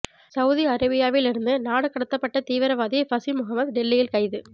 Saudi அரேபியாவில் இருந்து நாடு கடத்தப்பட்ட தீவிரவாதி ஃபஷி முகமது டெல்லியில் கைது